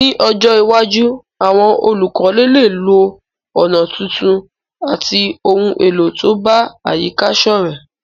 Ní ojó iwájú, àwon olùkọ́lé léè lo ònà tuntun àti oun èlò to bá àyíká sọ́rẹ́